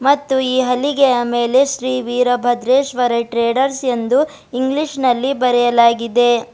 ಮತ್ತು ಈ ಹಲಿಗೆಯ ಮೇಲೆ ಶ್ರೀ ವೀರಭದ್ರೇಶ್ವರ ಟ್ರೇಡರ್ಸ್ ಎಂದು ಇಂಗ್ಲಿಷ್ ನಲ್ಲಿ ಬರೆಯಲಾಗಿದೆ.